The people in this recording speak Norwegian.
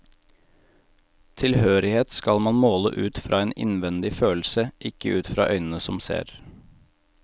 Tilhørighet skal man måle ut fra en innvendig følelse, ikke ut fra øynene som ser.